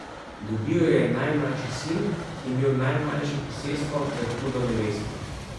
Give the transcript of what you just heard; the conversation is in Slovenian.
Dobil jo je najmlajši sin, ki je imel najmanjše posestvo ter hudo nevesto.